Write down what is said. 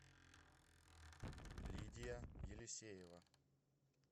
лидия елисеева